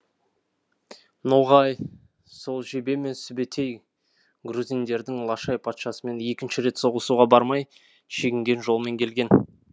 ноғай сол жебе мен сүбетэй грузиндердің лашай патшасымен екінші рет соғысуға бармай шегінген жолымен келген